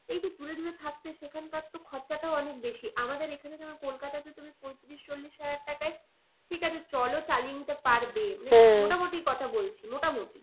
এই যে দূরে দূরে থাকছে সেখানকার তো খরচাটাও অনেক বেশি আমাদের এখানে যেমন কলকাতাতে তুমি পঁয়ত্রিশ চল্লিশ হাজার টাকায় ঠিক আছে চলো চালিয়ে নিতে পারবে মানে কথা বলছি মোটামুটি